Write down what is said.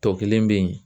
Tɔ kelen bɛ yen